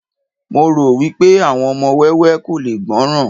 mo ro wipe àwọn ọmọ wẹwẹ ko le gbọràn